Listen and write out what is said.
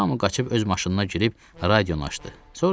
Hamı qaçıb öz maşınlarına girib, radionu açdı.